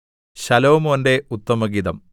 ശലോമോന്റെ ഉത്തമഗീതം